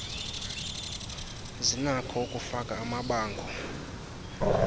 zinakho ukufaka amabango